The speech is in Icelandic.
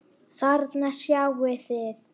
Þarna sjáið þið.